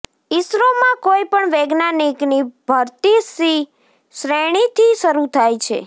ઈસરોમાં કોઈ પણ વૈજ્ઞાનિકની ભરતી સી શ્રેણીથી શરુ થાય છે